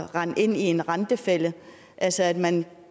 rende ind i en rentefælde altså at man